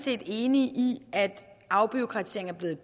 er enig i at afbureaukratisering er blevet